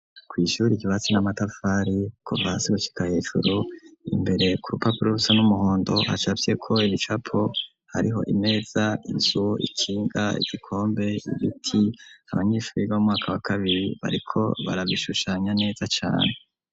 Kw ishuri ryibatsi n'amatafari kuva hasi gushika heJuru imbere ku rupapuro rusa n'umuhondo hasafye ko ibicapo hariho imeza inzu ikinga igikombe ibiti abanyeshure biga mu mwaka wa kabiri bariko barabishushanya neza cane.